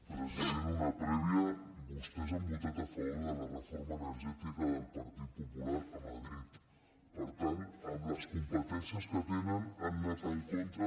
president una prèvia vostès han votat a favor de la reforma energètica del partit popular a madrid per tant amb les competències que tenen han anat en contra